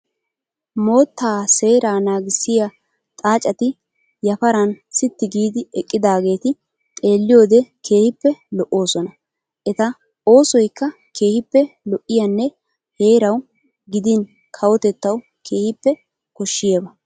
Moottaa seeraa naagissiyaa xaaceti yaparan sitti giidi eqqidaageti xeelliyoode keehippe lo'oosona. Eta oosoyikka keehippe lo'iyaanne heerawu gidin kawotettawu keehippe koshshiyaaba.